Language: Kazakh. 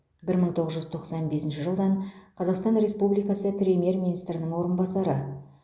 бір мың тоғыз жүз тоқсан бесінші жылдан қазақстан республикасы премьер министрінің орынбасары